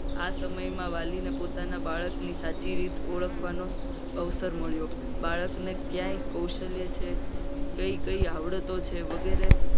આ સમયમાં વાલીને પોતાની સાચી રીત ઓળખવાનો અવસર મળે. બાળકને ક્યાંય કૌશલ્ય છે. કઈ કઈ આવડે તો છે. વગેરે